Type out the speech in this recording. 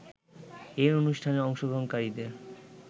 এই অনুষ্ঠানের অংশগ্রহণকারীদের